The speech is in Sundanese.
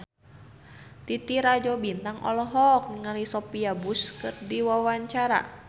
Titi Rajo Bintang olohok ningali Sophia Bush keur diwawancara